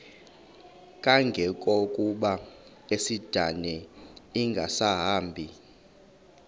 kangangokuba isindane ingasahambi